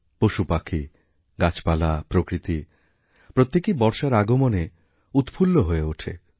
পশুপাখীগাছপালা প্রকৃতি প্রত্যেকেই বর্ষার আগমনে উৎফুল্ল হয়ে ওঠে